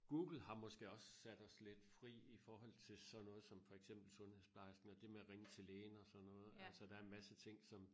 Google har måske også sat os lidt fri i forhold til sådan noget som for eksempel sundhedsplejesken eller det med at ringe til lægen og sådan noget altså der er en masse ting som